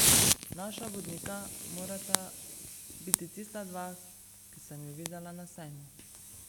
Naša vodnika morata biti tista dva, ki sem ju videla na sejmu.